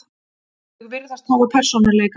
Þau virðast hafa persónuleika.